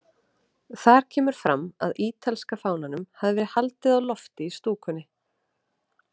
Þar kemur fram að ítalska fánanum hafi verið haldið á lofti í stúkunni.